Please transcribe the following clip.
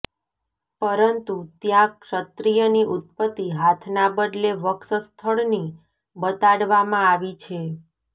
પરંતુ ત્યાં ક્ષત્રીયની ઉત્પત્તિ હાથના બદલે વક્ષ સ્થળથી બતાડવામાં આવી છે